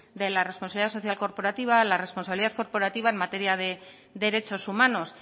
desde la responsabilidad social corporativa a la responsabilidad corporativa en materia de derechos humanos